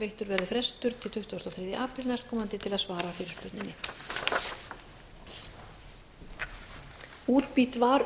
veittur verði frestur til tuttugasta og þriðja apríl næstkomandi til að svara fyrirspurninni